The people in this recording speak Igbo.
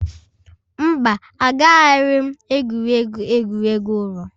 Mba, Agaraghị m egwuregwu egwuregwu ụlọ